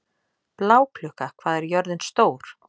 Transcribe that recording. Bláklukka, hvað er jörðin stór?